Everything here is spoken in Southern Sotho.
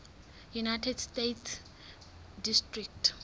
united states district